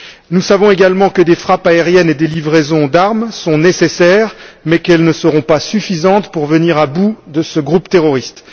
Nous savons également que des frappes aériennes et des livraisons d'armes sont nécessaires mais qu'elles ne seront pas suffisantes pour venir à bout de ce groupe terroriste.